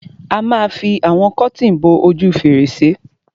A ma fi àwọn kọ́tìn bo ojú fèrèsé.